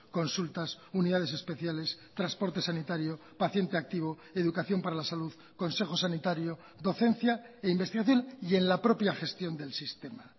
consultas unidades especiales transporte sanitario paciente activo educación para la salud consejo sanitario docencia e investigación y en la propia gestión del sistema